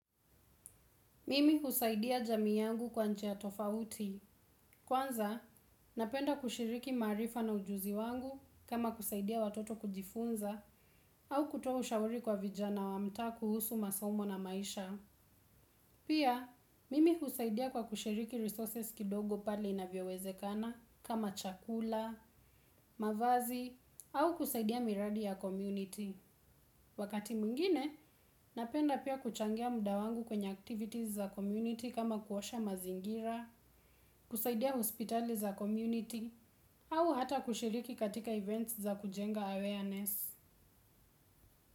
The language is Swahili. Mimi husaidia jami yangu kwa njia tofauti. Kwanza, napenda kushiriki maarifa na ujuzi wangu kama kusaidia watoto kujifunza au kutoa ushauri kwa vijana wa mtaa kuhusu masomo na maisha. Pia, mimi husaidia kwa kushiriki resources kidogo pale inavyowezekana kama chakula, mavazi au kusaidia miradi ya community. Wakati mwingine, napenda pia kuchangia muda wangu kwenye activities za community kama kuosha mazingira, kusaidia hospitali za community au hata kushiriki katika events za kujenga awareness.